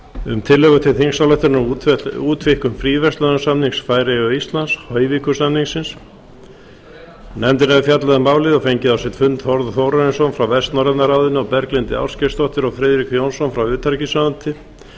um tillögu til þingsályktunar um útvíkkun fríverslunarsamnings færeyja og íslands hoyvíkur samningsins nefndin hefur fjallað um málið og fengið á sinn fund þórð þórarinsson frá vestnorræna ráðinu og berglindi ásgeirsdóttur og friðrik jónsson frá utanríkisráðuneyti